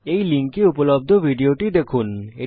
এই লিঙ্কে উপলব্ধ ভিডিও টি দেখুন